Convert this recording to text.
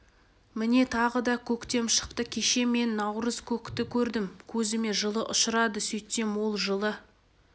міне тағы да көктем шықты кеше мен наурыз көкті көрдім көзіме жылы ұшырады сөйтсем ол жылы